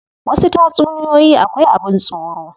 Wasu tatsuniyoyi akwai abin tsoro.